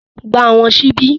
Gba Àwọn ṣíbí!